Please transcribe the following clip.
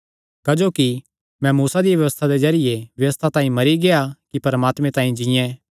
क्जोकि मैं मूसा दिया व्यबस्था दे जरिये व्यबस्था तांई मरी गेआ कि परमात्मे तांई जीयें